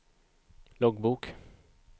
loggbok